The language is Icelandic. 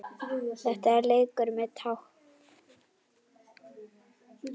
Þetta er leikur með tákn